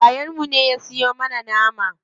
Yayan mu ne ya siyo mana nama.